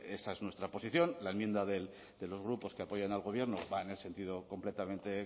esa es nuestra posición la enmienda de los grupos que apoyan al gobierno va en el sentido completamente